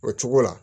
O cogo la